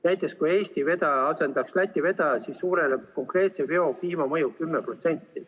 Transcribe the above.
Näiteks kui Eesti vedaja asendataks Läti vedajaga, siis suureneb konkreetse veo kliimamõju 10%.